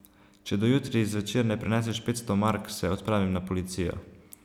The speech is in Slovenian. Če do jutri zvečer ne prineseš petsto mark, se odpravim na policijo.